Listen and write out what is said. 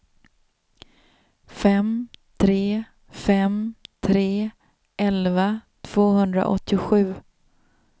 fem tre fem tre elva tvåhundraåttiosju